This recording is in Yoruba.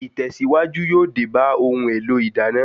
Ìtẹ̀síwájú yóò dé bá ohun èlò ìdáná